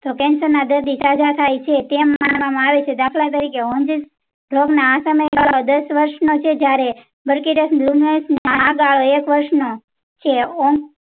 તો cancer ના દર્દી સજા તેઓ છે ટીમ માનવામાં આવે છે દાખલા તરીકે દસ વરસ નો છે ત્યારે આગળ એક વરસ નો છે ૐ